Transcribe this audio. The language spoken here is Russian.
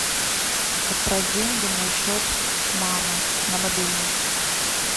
отправь деньги на счет мамы на мобильный